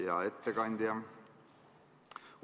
Hea ettekandja!